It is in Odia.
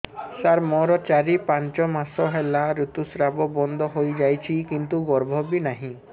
ସାର ମୋର ଚାରି ପାଞ୍ଚ ମାସ ହେଲା ଋତୁସ୍ରାବ ବନ୍ଦ ହେଇଯାଇଛି କିନ୍ତୁ ଗର୍ଭ ବି ନାହିଁ